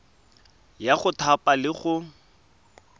ya go thapa le go